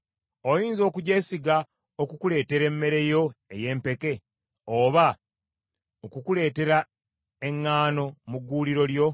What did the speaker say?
Oyinza okugyesiga okukuleetera emmere yo ey’empeke, oba okukuleetera eŋŋaano mu gguuliro lyo?